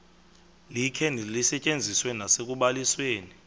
likhe lisetyenziswe nasekubalisweni